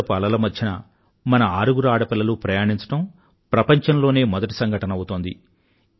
సముద్రపు అలల మధ్యన మన ఆరుగురు ఆడపిల్లలు ప్రయాణించడం ప్రపంచంలోనే మొదటి సంఘటన అవుతోంది